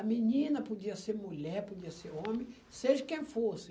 A menina podia ser mulher, podia ser homem, seja quem fosse.